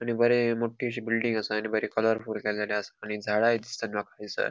आणि बरे मोटी अशी बिल्डिंग आसा आणि बरे कलरफुल केलेले आसा आणि झाड़ाई दिसता माका ऐसर.